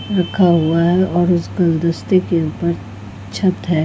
रखा हुआ है और उस गुलदस्ते के ऊपर छत है।